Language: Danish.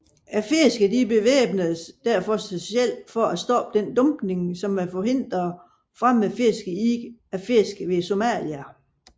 Fiskerne bevæbnede derfor sig selv for at stoppe denne dumpning samt forhindre fremmede fiskere i at fiske ved Somalia